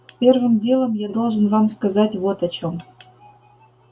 первым делом я должен вам сказать вот о чем